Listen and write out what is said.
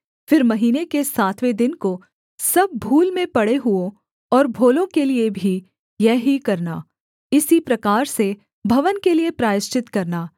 फिर महीने के सातवें दिन को सब भूल में पड़े हुओं और भोलों के लिये भी यह ही करना इसी प्रकार से भवन के लिये प्रायश्चित करना